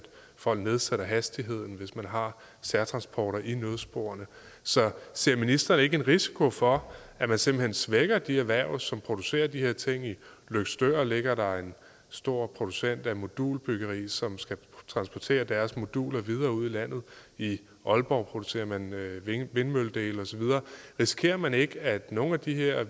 folk nedsætter hastigheden hvis man har særtransporter i nødsporene ser ser ministeren ikke en risiko for at man simpelt hen svækker de erhverv som producerer de her ting i løgstør ligger der en stor producent af modulbyggeri som skal transportere deres moduler videre ud i landet i aalborg producerer man vindmølledele og så videre risikerer man ikke at nogle af de her